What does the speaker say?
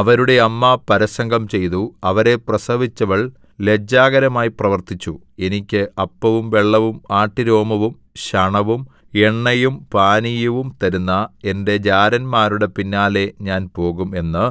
അവരുടെ അമ്മ പരസംഗം ചെയ്തു അവരെ പ്രസവിച്ചവൾ ലജ്ജാകരമായി പ്രവർത്തിച്ചു എനിക്ക് അപ്പവും വെള്ളവും ആട്ടുരോമവും ശണവും എണ്ണയും പാനീയവും തരുന്ന എന്റെ ജാരന്മാരുടെ പിന്നാലെ ഞാൻ പോകും എന്ന്